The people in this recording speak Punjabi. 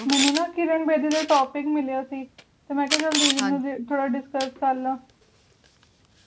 ਮੈਨੂੰ ਨਾ ਕਿਰਨ ਬੇਦੀ ਤੇ topic ਮਿਲਿਆ ਸੀ ਤੇ ਮੈ ਕਿਹਾ ਚੱਲ ਦੀਦੀ ਨਾਲ ਥੋੜਾ discuss ਕਰ ਲਾਂ